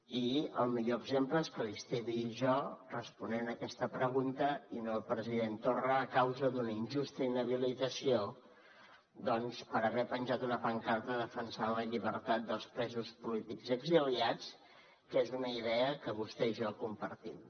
i el millor exemple és que li estigui jo responent aquesta pregunta i no el president torra a causa d’una injusta inhabilitació doncs per haver penjat una pancarta que defensava la llibertat dels presos polítics i exiliats que és una idea que vostè i jo compartim